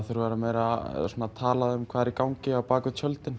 þurfi að vera meira talað um hvað er í gangi á bak við tjöldin